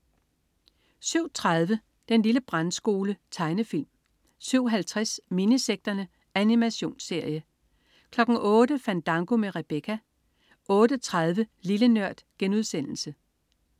07.30 Den lille brandskole. Tegnefilm 07.50 Minisekterne. Animationsserie 08.00 Fandango med Rebecca 08.30 Lille Nørd*